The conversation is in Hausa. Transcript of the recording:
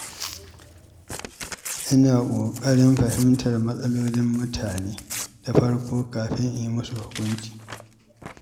Ina ƙoƙarin fahimtar matsalolin mutane da farko kafin in yi musu hukunci.